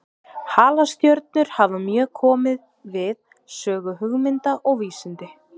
Halastjörnur hafa mjög komið við sögu hugmynda og vísinda.